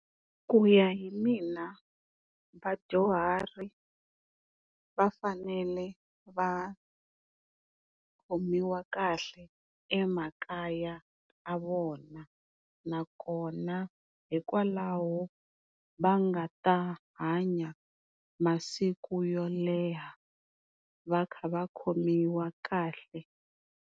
Ku ya hi mina vadyuhari va fanele va khomiwa kahle emakaya ya vona nakona hikwalaho va nga ta hanya masiku yo leha va kha va khomiwa kahle.